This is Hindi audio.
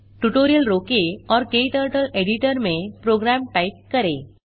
ट्यूटोरियल रोकें और क्टर्टल एडिटर में प्रोग्राम टाइप करें